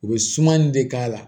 U bɛ sumani de k'a la